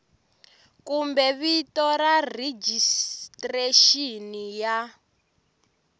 kumbe vito ra rejistrexini ya